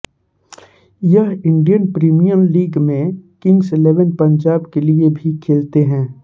वह Indian Premier League में Kings Eleven Punjab के लिए भी खेलते हैं